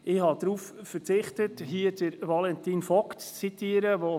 Ich habe darauf verzichtet, hier Valentin Vogt zu zitieren.